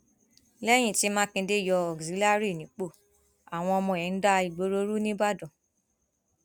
lẹyìn tí mákindé yọ cs] auxillary nípò àwọn ọmọ ẹ ń da ìgboro rú nìbàdàn